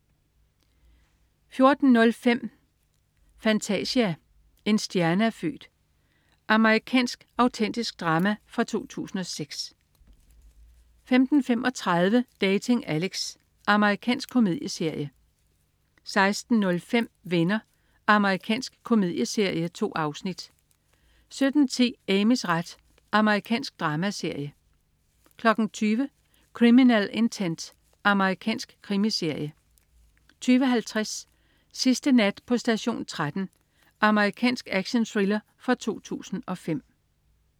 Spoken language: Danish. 14.05 Fantasia. En stjerne er født. Amerikansk autentisk drama fra 2006 15.35 Dating Alex. Amerikansk komedieserie 16.05 Venner. Amerikansk komedieserie. 2 afsnit 17.10 Amys ret. Amerikansk dramaserie 20.00 Criminal Intent. Amerikansk krimiserie 20.50 Sidste nat på station 13. Amerikansk actionthriller fra 2005